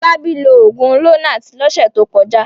Fọlábí lo òògùn Lonart lọ́sẹ̀ tó kọjá.